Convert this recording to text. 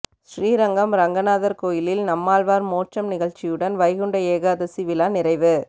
ஸ்ரீரங்கம் ரங்கநாதர் கோயிலில் நம்மாழ்வார் மோட்சம் நிகழ்ச்சியுடன் வைகுண்ட ஏகாதசி விழா நிறைவு